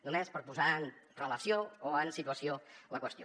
només per posar en relació o en situació la qüestió